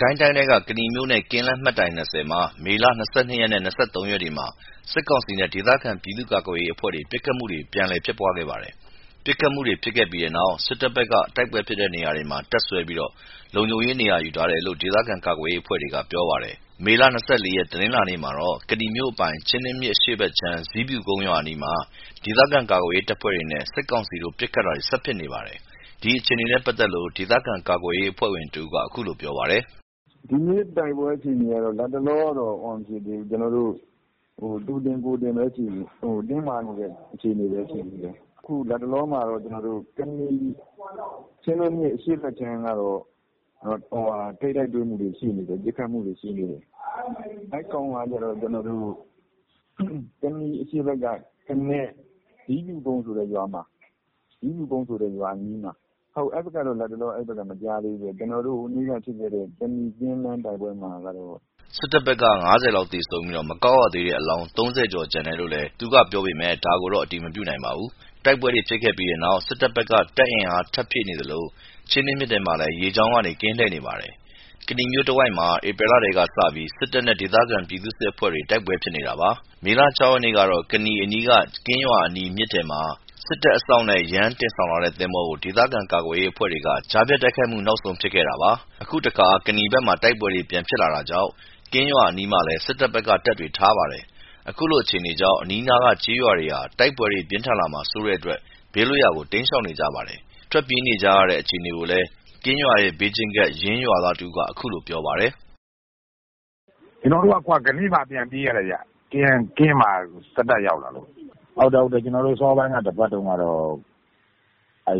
ကိုင်းတိုင်းထဲက ကနီမြို့နဲ့ ကင်းလမ်း မိုင်တိုင် ၂၀ မှာ မေ ၂၂ ရက် နဲ့ ၂၃ ရက်တွေမှာ စစ်ကောင်စီနဲ့ ဒေသခံ ပြည်သူ့ကာကွယ်ရေးအဖွဲ့တွေ ပစ်ခတ်မှုတွေ ပြန်လည် ဖြစ်ပွားခဲ့ပါတယ်။ ပစ်ခတ်မှုတွေဖြစ်ခဲ့ပြီးနောက် စစ်တပ်ဖက်က တိုက်ပွဲဖြစ်တဲ့ နေရာတွေမှာ တပ်စွဲပြီး လုံခြုံရေး ယူထားတယ်လို့ ဒေသခံကာကွယ်ရေး အဖွဲ့တွေက ပြောပါတယ်။ မေလ ၂၄ ရက် တနင်္လာနေ့မှာတော့ ကနီမြို့အပိုင် ချင်းတွင်းမြစ်အရှေ့ဘက်ခြမ်းက ဇီးဖြူကုန်းရွာအနီးမှာ ဒေသခံကာကွယ်ရေးအဖွဲ့တွေနဲ့ စစ်ကောင်စီတို့ ပစ်ခတ်တာတွေ ဆက်ဖြစ်နေပါတယ်။ ဒီအခြေအနေနဲ့ပတ်သက်လို့ ဒေသခံကာကွယ်ရေး အဖွဲ့ဝင်တဦးက အခုလိုပြောပါတယ်။ “ဒီနေ့တိုက်ပွဲအခြေအနေကတော့ လတ်တလောက သူတင်ကိုယ်တင်တင်းမာနေတဲ့ အခြေအနေပဲ ရှိသေးတယ်။ လတ်တလောမှာတော့ ကနီ ချင်းတွင်းမြစ် အရှေ့ဘက်ခြမ်းက ထိပ်တိုက်တွေ့မှုတွေ ရှိနေတယ်။ ပစ်ခတ်မှုတွေ ရှိနေတယ်။ အဲ့ကောင်ကကျတော့ ကနီအရှေ့ဘက်က ကနဲ ဇီးဖြူကုန်းဆိုတဲ့ ရွာအနီးမှာ အဲ့ဘက်ကတော့ လက်တလောမကြားသေးဘူး။ ဟိုးနေ့က ဖြစ်ခဲ့တဲ့ ကနီကင်းလမ်းတိုက်ပွဲမှာတော့ ကျဆုံးမှုတွေများတယ်။ စစ်တပ်ဖက်က ၅၀ လောက်သေဆုံးပြီး မကောက်ရသေးတဲ့ အလောင်း ၃၀ ကျော်ကျန်တယ်လို့လည်း သူက ပြောပေမဲ့ ဒါကို အတည်မပြုနိုင်ပါဘူး။ တိုက်ပွဲတွေဖြစ်ခဲ့ပြီးနောက် စစ်တပ်ဖက်က တပ်အင်အား ထပ်ဖြည့်နေသလို ချင်းတွင်းမြစ်ထဲမှာလည်း ရေကြောင်းကနေ ကင်းလှည့်နေပါတယ်။ ကနီမြို့တဝိုက်မှာ ဧပြီလထဲက စပြီး စစ်တပ်နဲ့ ဒေသခံပြည်သူ့စစ်အဖွဲ့တွေ တိုက်ပွဲဖြစ်နေတာပါ။ မေလ ၆ ရက်နေ့ကတော့ ကနီအနီးက ကင်းရွာအနီး မြစ်ထဲမှာ စစ်တပ်အစောင့်နဲ့ ယမ်းတင်ဆောင်လာတဲ့ သင်္ဘောကို ဒေသခံကာကွယ်ရေးအဖွဲ့တွေက ကြားဖြတ်တိုက်ခိုက်မှု နောက်ဆုံးဖြစ်ခဲ့တာပါ။" အခုတခါ ကနီဖက်မှာ တိုက်ပွဲတွေ ပြန်ဖြစ်လာတာကြောင့် ကင်းရွာအနီးမှာလည်း စစ်တပ်က တပ်တွေထားပါတယ်။ ခုလို အခြေအနေကြောင့် အနီးနားက ကျေးရွာတွေဟာ တိုက်ပွဲတွေ ပြင်းထန်လာမှာစိုးတဲ့အတွက် ဘေးလွတ်ရာကို တိမ်းရှောင်နေကြပါတယ်။ ထွက်ပြေးနေကြတဲ့ အခြေအနေကို ကင်းရွာရဲ့ ဘေးချင်းကပ် ယင်းရွာသား တဦးက အခုလိုပြောပါတယ်။ “ကျွန်တော်တို့က ကနေ့မှ ပြန်ပြေးရတယ်ခင်ဗျ။ ကင်းမှာ စစ်တပ်ရောက်လာလို့ ကျွန်တော်တို့ အစောပိုင်း တပတ်တုန်းကတော့ အဲ့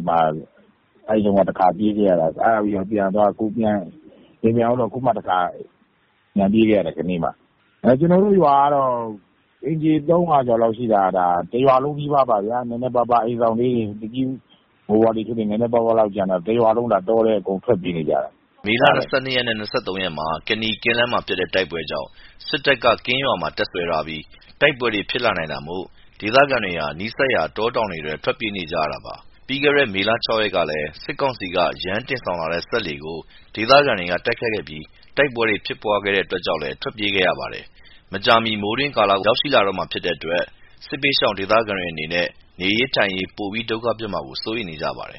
တုန်းက တခါပြေးခဲ့ရသေးတယ်။ အဲ့ဒါပြီးတော့ ပြန်သွား အခုမှတခါပြန်ပြေးခဲ့ရတယ် ကနေ့မှ ။ ကျွန်တော်တို့ရွာကတော့ အိမ်ခြေ ၃၀၀ ကျော် လောက်ရှိတာ တရွာလုံးနီးပါး ပြေးရတယ်။ နည်းနည်းပါးပါး အိမ်စောင့်လေး နည်းနည်းပါးပါးလောက်ကျန်တာ တရွာလုံး တောထဲ အကုန်ထွက် ပြေးနေကြတာ။” မေ ၂၂ ရက်နဲ့ ၂၃ ရက်မှာ ကနီ ကင်းလမ်းမှာ ဖြစ်တဲ့ တိုက်ပွဲကြောင့် စစ်တပ်က ကင်းရွာမှာ တပ်စွဲထားပြီး တိုက်ပွဲတွေ ဖြစ်လာနိုင်တာမို့ဒေသခံတွေ နီးစပ်ရာတောတောင်တွေထဲ ထွက်ပြေးနေရတာပါ။ ပြီးခဲ့တဲ့ မေ ၆ ရက်ကလည်း စစ်ကောင်စီက ယမ်းတင်ဆောင်တဲ့ စက်လှေကို ဒေသခံတွေ က တိုက်ခိုက်ခဲ့ပြီး တိုက်ပွဲတွေ ဖြစ်ပွားတဲ့အတွက်ကြောင့်လည်း ထွက်ပြေးခဲ့ရပါတယ်။ မကြာမီ မိုးတွင်းကာလကို ရောက်ရှိလာတော့မှာဖြစ်တဲ့အတွက် စစ်ဘေးရှောင်ဒေသခံတွေအနေနဲ့ နေရေး ထိုင်ရေး ပိုပြီး ဒုက္ခဖြစ်မှာကို စိုးရိမ်နေကြပါတယ်